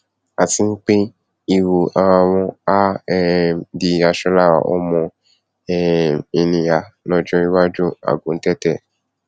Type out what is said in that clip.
àti pé ìwù ara wọn á um di aṣọ lára ọmọ um ènìà lọjọ iwájú àguntẹtẹ